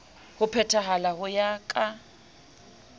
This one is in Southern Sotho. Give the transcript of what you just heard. ho phethahala ho ya ka